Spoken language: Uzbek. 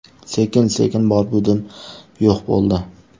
Sekin sekin bor-budim yo‘q bo‘ldi.